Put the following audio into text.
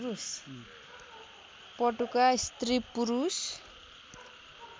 पटुका स्त्री पुरुष